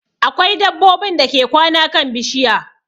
Akwai dabbobin dake kwana kan bishiya